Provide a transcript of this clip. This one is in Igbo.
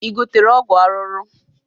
Ị gotere ọgwụ ahụhụ?